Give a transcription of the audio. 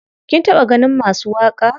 Kin taɓa ganin masu waƙa?